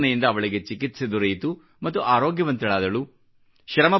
ಈ ಯೋಜನೆಯಿಂದ ಅವಳಿಗೆ ಚಿಕಿತ್ಸೆ ದೊರೆಯಿತು ಮತ್ತು ಆರೋಗ್ಯವಂತಳಾದಳು